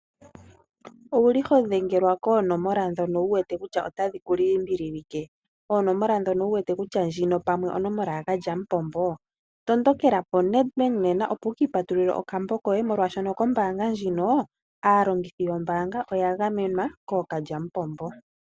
Owuli ho dhengelwa koonomola ndhono wu wete kutya otadhi ku limbilike , onomola ndjono wu wete kutya ndjino pamwe onomola yookalyamupombo , tondokeka koNedbabk nena opo wu ka patulule okambo koye, oshoka aalongithi yombaanga ndjino oya gamenwa kookalyamupombo.